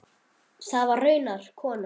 Það var raunar konan hans.